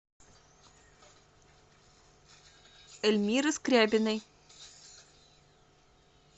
эльмиры скрябиной